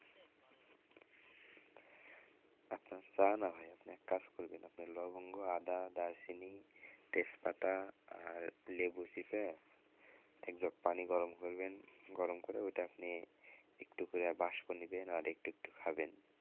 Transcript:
আপনার চা না ভাই আপনি এক কাজ করবেন আপনের লবঙ্গ আদা দারুচিনি তেজপাতা আর লেবু চিপে একজগ পানি গরম করবেন গরম করে ওইটা আপনি একটু করে বাষ্প নিবেন আর একটু একটু খাবেন।